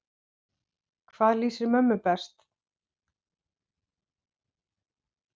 Hvað lýsir mömmu best?